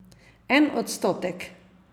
En odstotek!